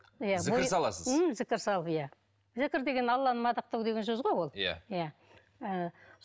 иә зікір саласыз м зікір салып иә зікір деген алланы мадақтау деген сөз ғой ол иә иә